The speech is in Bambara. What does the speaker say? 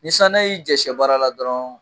Ni sanuya y'i jɛ sɛ baara la dɔrɔn